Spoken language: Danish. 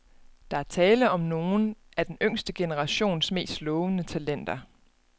Der er tale om nogle af den yngste generations mest lovende talenter.